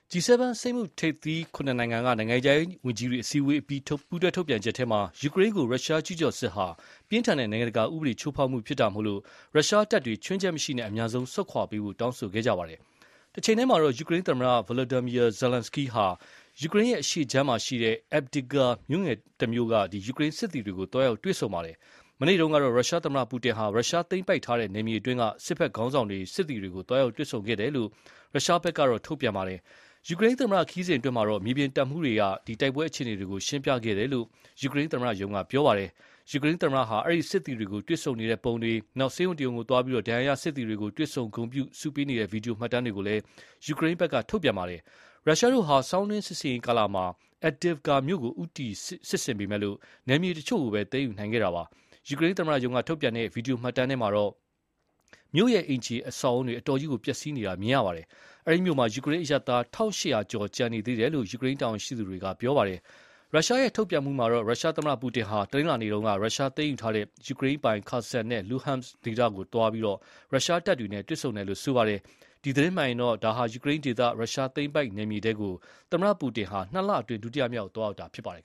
G7 စက်မှုထိပ်သီး ၇ နိုင်ငံက နိုင်ငံခြားရေးဝန်ကြီးတွေ အစည်းအဝေးအပြီး ပူးတွဲထုတ်ပြန်ချက်ထဲမှာ ယူကရိန်းကို ရုရှားကျူးကျော်စစ်ဟာ ပြင်းထန်တဲ့ နိုင်ငံတကာဥပဒေချိုးဖောက်မှုဖြစ်တာမို့ ရုရှားတပ်တွေ ခြွင်းချက်မရှိ အမြန်ဆုံးဆုတ်ခွာပေးဖို့ တောင်းဆိုခဲ့ကြပါတယ်။ တချိန်တည်းမှာတော့ ယူကရိန်းသမ္မတ Volodymyr Zelenskyy ဟာ ယူကရိန်းအရှေ့ခြမ်းက Avdiivka မြို့ငယ်လေးတမြို့က ယူကရိန်းစစ်သည်တွေကို သွားရောက်တွေ့ဆုံခဲ့ပါတယ်။ မနေ့တုန်းကတော့ ရုရှားသမ္မတပူတင်ဟာ ရုရှားကသိမ်းပိုက်ထားတဲ့ နယ်မြေတွင်းက စစ်ဘက်ခေါင်းဆောင်တွေ၊ စစ်သည်တွေကို သွားရောက်တွေ့ဆုံခဲ့တယ်လို့ရုရှားဘက်က ထုတ်ပြန်ခဲ့တာပါ။ ယူကရိန်းသမ္မတခရီးစဉ်အတွင်း မြေပြင်တပ်မှူးတွေက တိုက်ပွဲအခြေအနေတွေကို ရှင်းပြခဲ့တယ်လို့ ယူကရိန်းသမ္မတရုံးက ပြောပါတယ်။ ယူကရိန်းသမ္မတဟာ အဲဒီ စစ်သည်တွေကို တွေ့ဆုံနေတဲ့ပုံတွေ၊ ဆေးရုံတရုံကိုသွားပြီး ဒဏ်ရာရစစ်သည်တွေကို တွေ့ဆုံဂုဏ်ပြု ဆုပေးနေတဲ့ဗွီဒီယိုမှတ်တမ်းတွေကိုလည်း ယူကရိန်းက ထုတ်ပြန်ပါတယ်။ ရုရှားတို့ဟာ ဆောင်းတွင်းစစ်ဆင်ရေးကာလမှာ Avdiivka မြို့ကို ဦးတည်စစ်ဆင်ပေမယ့် နယ်မြေတချို့ကိုပဲ သိမ်းယူနိင်ခဲ့တာပါ။ ယူကရိန်းသမ္မတရုံးကထုတ်ပြန်တဲ့ ဗီဒီယိုမှတ်တမ်းမှာတော့ မြို့ရဲ့ အိမ်ခြေအဆောက်အဦးတွေ အတော်ကြီးပျက်စီးနေတာမြင်ရပါတယ်။ အဲဒီမြို့မှာ ယူကရိန်းအရပ်သား ၁,၈၀၀ ကျော် ကျန်ရှိနေတယ်လို့ ယူကရိန်းတာဝန်ရှိသူတွေက ပြောပါတယ်။ ရုရှားထုတ်ပြန်မှုမှာတော့ ရုရှားသမ္မတပူတင်ဟာ တနင်္လာနေ့တုန်းက ရုရှားကသိမ်းယူထားတဲ့ ယူကရိန်းပိုင် Kherson နဲ့ Luhansk ဒေသကိုသွားရောက်ပြီး ရုရှားတပ်တွေနဲ့ တွေ့ဆုံတယ်လို့ဆိုပါတယ်။ ဒီသတင်းမှန်ရင်တော့ ဒါဟာ ယူကရိန်းဒေသ ရုရှားသိမ်းပိုက်နယ်မြေထဲကို သမ္မတပူတင် နှစ်လအတွင်း ဒုတိယမြောက်သွားရောက်တာဖြစ်ပါတယ်